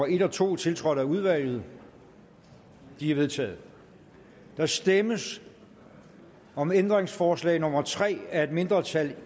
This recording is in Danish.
en to tiltrådt af udvalget de er vedtaget der stemmes om ændringsforslag nummer tre af et mindretal